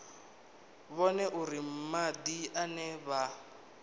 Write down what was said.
vhone uri madi ane vha